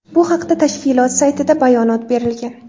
Bu haqda tashkilot saytida bayonot berilgan .